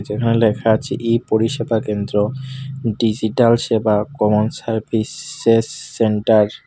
এখানে লেখা আছে ই পরিষেবা কেন্দ্র ডিজিটাল সেবা কমন সার্ভিসেস সেন্টার ।